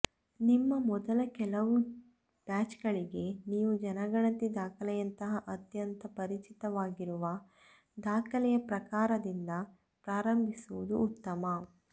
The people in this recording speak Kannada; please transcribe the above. ನಿಮ್ಮ ಮೊದಲ ಕೆಲವು ಬ್ಯಾಚ್ಗಳಿಗೆ ನೀವು ಜನಗಣತಿ ದಾಖಲೆಯಂತಹ ಅತ್ಯಂತ ಪರಿಚಿತವಾಗಿರುವ ದಾಖಲೆಯ ಪ್ರಕಾರದಿಂದ ಪ್ರಾರಂಭಿಸುವುದು ಉತ್ತಮ